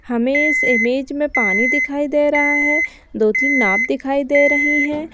हमें इस इमेज में पानी दिखाई दे रहा है दो तीन नाव दिखाई दे रही है।